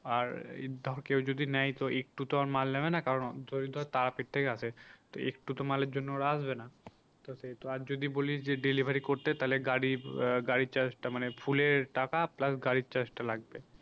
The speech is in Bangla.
আর এই ধর কেউ যদি নেয় তো একটু তো আর মাল নেবে না কারণ যদি ধর তারাপীঠ থেকে আসে তো একটু তো মালের জন্য ওরা আসবে না তো সেহেতু আর যদি বলিস যে delivery করতে তাহলে গাড়ি আহ গাড়ির charge টা মানে ফুলের টাকা plus গাড়ির charge টা লাগবে।